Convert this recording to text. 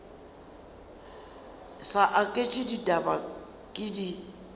sa aketše ditaba ke di